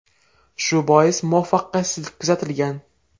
Shu bois muvaffaqiyatsizlik kuzatilgan.